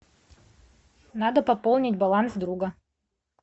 надо пополнить баланс друга